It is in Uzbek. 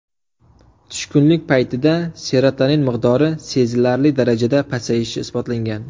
Tushkunlik paytida serotonin miqdori sezilarli darajada pasayishi isbotlangan.